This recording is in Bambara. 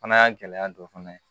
Fana y'a gɛlɛya dɔ fana ye